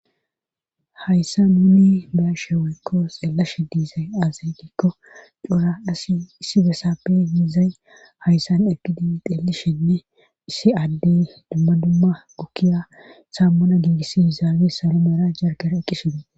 hayssa nunni be'ashe woykko xeellashe diizay aaza gikko coora asi issi besaappe yiizay hayssan eqidin xeelishenne issi addey dumma dumma gukkiya saammuna giigissyizaabe saro meera jargera eqqishine